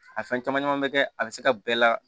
A fɛn caman caman bɛ kɛ a bɛ se ka bɛɛ la